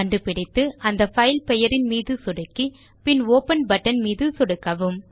கண்டுபிடித்து அந்த பைல் பெயரின் மீது சொடுக்கி பின் ஒப்பன் பட்டன் மீது சொடுக்கவும்